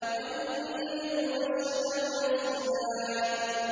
وَالنَّجْمُ وَالشَّجَرُ يَسْجُدَانِ